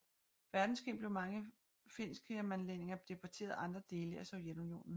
Verdenskrig blev mange finskingermanlændinge deporteret til andre dele af Sovjetunionen